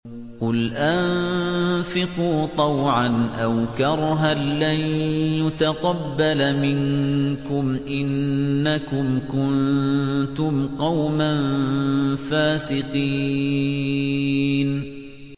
قُلْ أَنفِقُوا طَوْعًا أَوْ كَرْهًا لَّن يُتَقَبَّلَ مِنكُمْ ۖ إِنَّكُمْ كُنتُمْ قَوْمًا فَاسِقِينَ